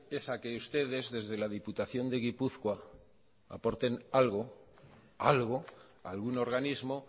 es a que ustedes desde la diputación de gipuzkoa aporten algo algo a algún organismo